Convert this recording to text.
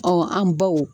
an baw